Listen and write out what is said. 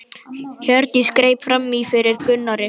Hjördís greip fram í fyrir Gunnari.